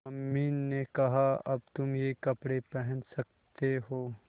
mummy ने कहा अब तुम ये कपड़े पहन सकते हो